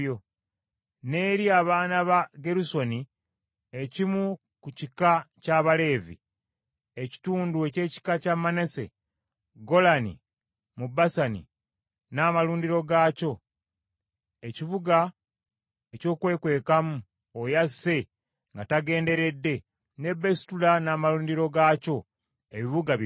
N’eri abaana ba Gerusoni ekimu ku kika ky’Abaleevi, ekitundu eky’ekika kya Manase, Golani mu Basani n’amalundiro gaakyo, ekibuga eky’okwekwekangamu oyo asse nga tagenderedde, ne Beesutera n’amalundiro gaakyo, ebibuga bibiri.